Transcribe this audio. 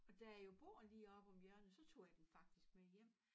Og da jeg jo bor lige oppe om hjørnet så tog jeg den faktisk med hjem